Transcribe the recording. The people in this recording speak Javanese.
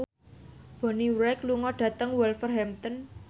Bonnie Wright lunga dhateng Wolverhampton